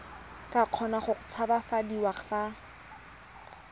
ka kgona go tshabafadiwa fa